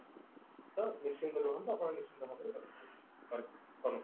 ତ ନିଶ୍ଚିନ୍ତ ରୁହନ୍ତୁ ଆପଣ ନିଶ୍ଚିନ୍ତ ଭାବରେ